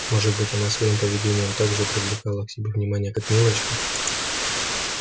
может быть она своим поведением так же привлекала к себе внимание как милочка